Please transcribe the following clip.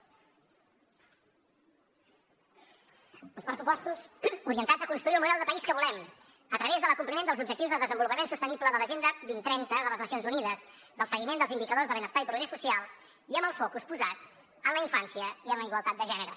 uns pressupostos orientats a construir el model de país que volem a través de l’acompliment dels objectius de desenvolupament sostenible de l’agenda dos mil trenta de les nacions unides del seguiment dels indicadors de benestar i progrés social i amb el focus posat en la infància i en la igualtat de gènere